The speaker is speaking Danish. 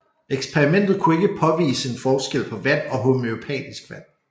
Eksperimentet kunne ikke påvise en forskel på vand og homøopatisk vand